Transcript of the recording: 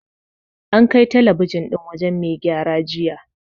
An kai talabijin ɗin wajen mai gyara jiya.